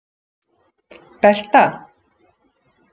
Berta